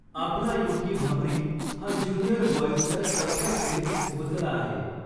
आपला युकी भांबरी हा ज्युनिअर बॉइजच्या चौथ्या फेरीत पोहोचला आहे.